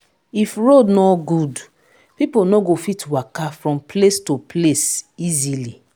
if road no good people no go fit waka from place to place easily